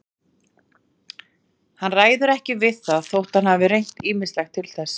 Hann ræður ekki við það þótt hann hafi reynt ýmislegt til þess.